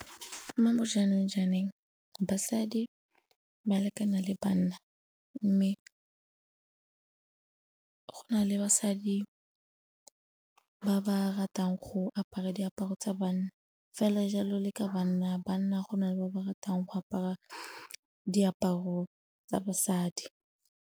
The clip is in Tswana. Mo bo jaanong jwaneng basadi ba lekana le banna mme go nale basadi ba ba ratang go apara diaparo tsa banna fela jalo le ka banna banna go na le ba ba ratang go apara diaparo tsa basadi.